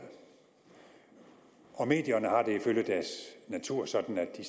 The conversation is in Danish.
og medierne har det ifølge deres natur sådan at de